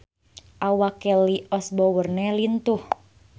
Awak Kelly Osbourne lintuh